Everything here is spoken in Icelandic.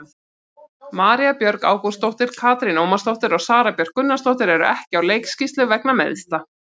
María Björg Ágústsdóttir, Katrín Ómarsdóttir og Sara Björk Gunnarsdóttir eru ekki á leikskýrslu vegna meiðsla.